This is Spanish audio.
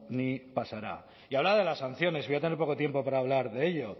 ni pasará y hablaba de las sanciones voy a tener poco tiempo para hablar de ello